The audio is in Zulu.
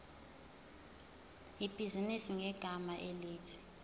ibhizinisi ngegama elithi